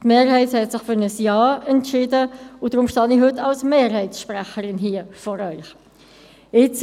Die Mehrheit hat sich für ein Ja entschieden – deshalb stehe ich heute als Sprecherin der FiKo-Mehrheit vor Ihnen.